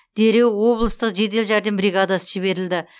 дереу облыстық жедел жәрдем бригадасы жіберілді